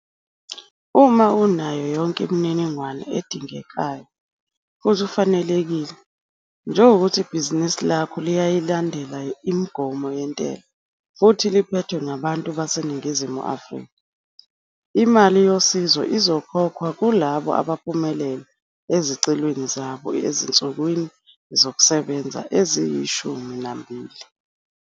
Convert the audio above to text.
Uma unayo yonke imininingwane edingekayo futhi ufanelekile, njengokuthi ibhizinisi lakho liyayilandela imigomo yentela futhi liphethwe ngabantu baseNingizimu Afrika, imali yosizo izokhokhwa kulabo abaphumelele ezicelweni zabo ezinsukwini zokusebenza eziyi-12.